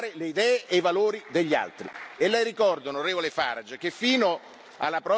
Si può essere contrari, si può uscire, ma bisogna rispettare le idee e i valori degli altri.